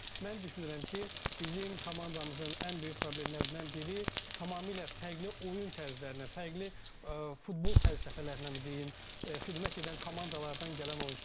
amma mən düşünürəm ki, bizim komandamızın ən böyük problemlərindən biri tamamilə fərqli oyun tərzlərindən, fərqli futbol fəlsəfələrindən deyim, xidmət edən komandalardan gələn oyunçulardır.